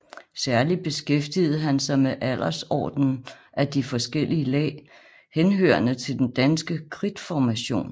Særlig beskæftigede han sig med aldersordenen af de forskellige lag henhørende til den danske kridtformation